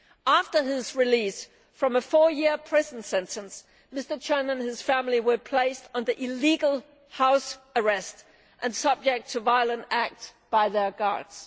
After his release from a four year prison sentence, Mr Chen and his family were placed under illegal house arrest and subject to violent acts by their guards.